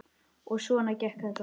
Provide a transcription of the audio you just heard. Og svona gekk þetta.